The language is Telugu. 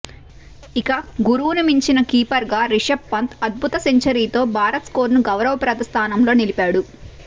ఇక గురువును మించిన కీపర్గా రిషబ్ పంత్ అద్భుత సెంచరీతో భారత్ స్కోరును గౌరవప్రద స్థానంలో నిలిపాడు